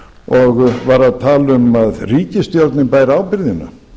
og var að tala um að ríkisstjórnin bæri ábyrgðina